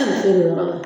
yɔrɔ la